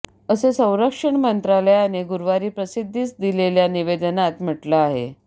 असे संरक्षण मंत्रालयाने गुरुवारी प्रसिद्धीस दिलेल्या निवेदनात म्हटलं आहे